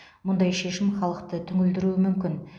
мұндай шешім халықты түңілдіруі мүмкін